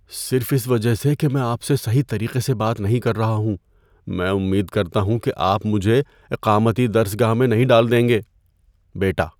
صرف اس وجہ سے کہ میں آپ سے صحیح طریقے سے بات نہیں کر رہا ہوں، میں امید کرتا ہوں کہ آپ مجھے اقامتی درس گاہ میں نہیں ڈال دیں گے؟ (بیٹا)